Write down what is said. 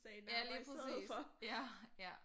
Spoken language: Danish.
Ja lige præcis ja ja